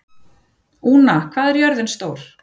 Úna, hvað er jörðin stór?